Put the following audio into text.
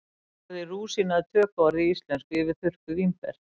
Orðið rúsína er tökuorð í íslensku yfir þurrkuð vínber.